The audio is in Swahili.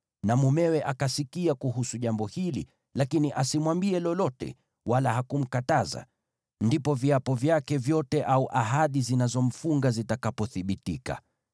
na mumewe akasikia kuhusu jambo hili lakini asimwambie lolote wala hakumkataza, ndipo viapo vyake vyote au ahadi zinazomfunga zitakapothibitika.